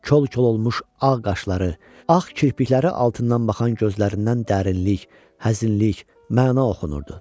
Kol-kol olmuş ağ qaşları, ağ kirpikləri altından baxan gözlərindən dərinlik, həzinlik, məna oxunurdu.